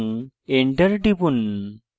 তারপর enter টিপুন